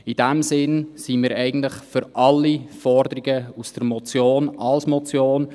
In diesem Sinn sind wir eigentlich für alle Forderungen der Motion als Motion.